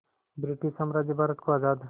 British साम्राज्य भारत को आज़ाद